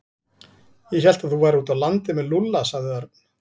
Ég hélt að þú værir úti á landi með Lúlla sagði Örn.